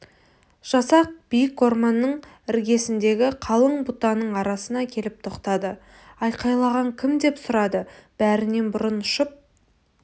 жасақ биік орманның іргесіндегі қалың бұтаның арасына келіп тоқтады айқайлаған кім деп сұрады бәрінен бұрын ұшып